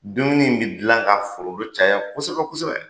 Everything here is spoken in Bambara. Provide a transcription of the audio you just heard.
Dumuni in bɛ dilan k'a foronto caya kosɛbɛ kosɛbɛ!